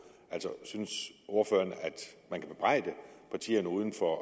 altså synes ordføreren at man kan bebrejde partierne uden for